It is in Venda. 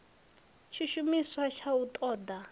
tshishumiswa ya u ṱo ḓa